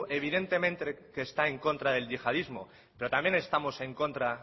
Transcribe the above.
evidentemente que está en contra del yihadismo pero también estamos en contra